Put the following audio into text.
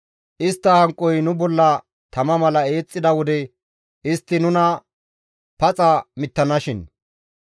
istta hanqoy nu bolla tama mala eexxida wode istti nuna paxa mittanashin.